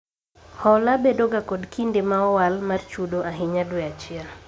Hola bedo ga kod kinde ma owal mar chudo ahinya dwe achiel